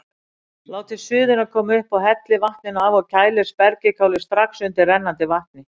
Látið suðuna koma upp, hellið vatninu af og kælið spergilkálið strax undir rennandi vatni.